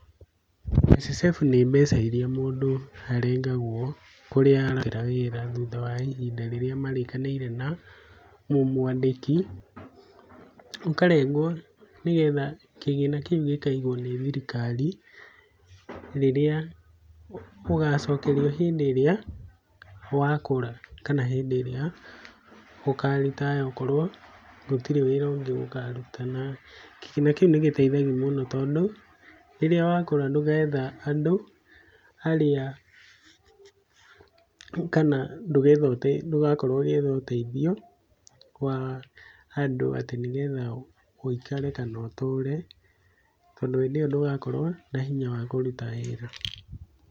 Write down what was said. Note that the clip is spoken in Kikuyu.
NSSF nĩ mbeca iria mũndũ arengagwo kũrĩa araruta wĩra thutha wa ihinda rĩrĩa marĩkanĩire na mũmũandĩki, ũkarengwo nĩgetha kĩgĩna kĩu gĩkaigwo nĩ thirikari, ũgacokerio hĩndĩ ĩrĩa wakũra kana hĩndĩ ĩrĩa ũka retire okorwo gũtirĩ wĩra ũngĩ ũkaruta na kĩmera kĩu nĩgĩteithagia mũno tondũ rĩrĩa wakũra ndũgetha andũ arĩa kana ndũgakorwo ũgĩetha ũteithio wa andũ atĩ nĩgetha ũikare kana ũtũre tondũ hĩndĩ ĩyo ndũgakorwo na hinya wa kũruta wĩra.